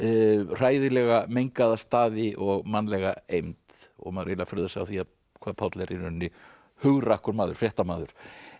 hræðilega mengaða staði og mannlega eymd maður furðar sig á því hvað Páll er í rauninni hugrakkur maður fréttamaður